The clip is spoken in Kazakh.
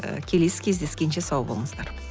і келесі кездескенше сау болыңыздар